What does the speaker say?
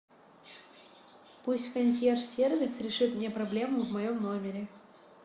пусть консьерж сервис решит мне проблему в моем номере